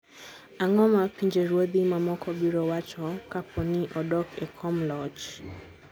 Ang'o ma pinjeruodhi mamoko biro wacho kapo ni odok e kom loch?